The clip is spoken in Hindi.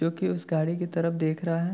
जो की उस गाड़ी की तरफ देख रहा है|